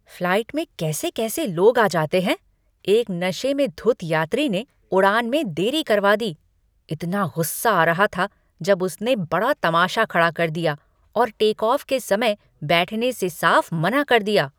Flight में कैसे कैसे लोग आ जाते हैं! एक नशे में धुत यात्री ने उड़ान में देरी करवा दी। इतना गुस्सा आ रहा था जब उसने बड़ा तमाशा खड़ा कर दिया और टेकऑफ़ के समय बैठने से साफ मना कर दिया।